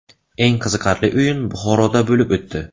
Eng qiziqarli o‘yin Buxoroda bo‘lib o‘tdi.